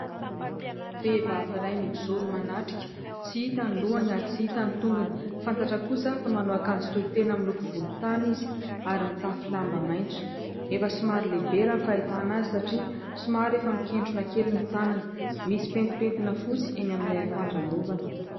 Vehivavy iray mijoro manatrika, tsy hita ny lohany ary tsy hita ny tongony, fantatra kosa fa manao akanjo tohin-tena mitady volon-tany ary mitafy lamba maintso efa somary lehibe raha ny fahitana anazy satria somary efa miketrona kely ny tanany, misy pentipentina fotsy eny amin'ny Ilay akanjo anaovany.